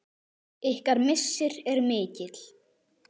Ykkar missir er mikil.